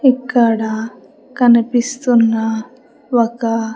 ఇక్కడ కనిపిస్తున్న ఒక.